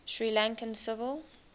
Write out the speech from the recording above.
sri lankan civil